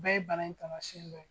O bɛɛ ye bana in tamansiɛn dɔ ye.